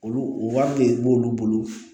Olu wari de b'olu bolo